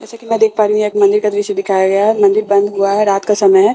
जैसे की मैं देख पा रही हूँ यह एक मंदिर का दृश्य दिखाया गया है और मंदिर बंद हुआ है रात का समय हैं।